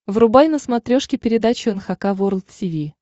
врубай на смотрешке передачу эн эйч кей волд ти ви